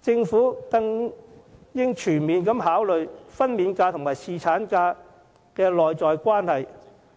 政府更應全面考慮分娩假與侍產假的內在關係，